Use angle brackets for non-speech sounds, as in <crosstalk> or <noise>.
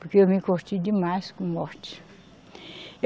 Porque eu me <unintelligible> demais com morte.